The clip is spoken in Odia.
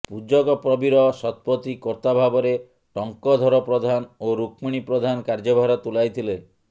ପୂଜକ ପ୍ରବୀର ଶତପଥୀ କର୍ତା ଭାବରେ ଟଙ୍କଧର ପ୍ରଧାନ ଓ ରୁକ୍ମିଣୀ ପ୍ରଧାନ କାର୍ଯ୍ୟଭାର ତୁଲାଇଥିଲେ